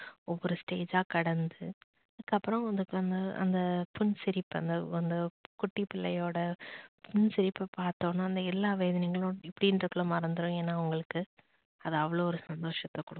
ஒவ்வொரு stage ஜா கடந்து அப்புறம் அந்த அந்த புண் சிரிப்பு அந்த அந்த குட்டி பிள்ளையோட புண் சிரிப்ப பார்த்த உடனே அந்த எல்லா வேதனைகளும் இப்படினுறதுக்குள்ள மறந்துடும் ஏன்னா அவங்களுக்கு அது அவ்ளோ ஒரு சந்தோஷத்தை கொடுக்கும்